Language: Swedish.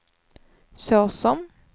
såsom